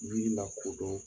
Jiri la kodɔn